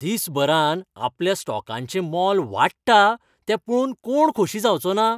दिसभरांत आपल्या स्टॉकांचें मोल वाडत तें पळोवन कोण खोशी जावचो ना?